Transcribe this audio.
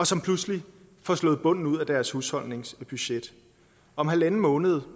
som pludselig får slået bunden ud af deres husholdningsbudget om halvanden måned